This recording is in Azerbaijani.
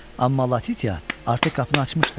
Amma Latiya artıq qapını açmışdı.